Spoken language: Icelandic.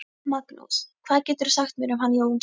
Magnús: Hvað geturðu sagt mér um hann Jónsa?